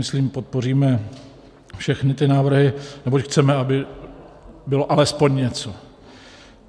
Myslím, podpoříme všechny ty návrhy, neboť chceme, aby bylo alespoň něco.